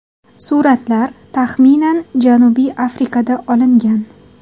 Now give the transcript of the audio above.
Suratlar, taxminan Janubiy Afrikada olingan.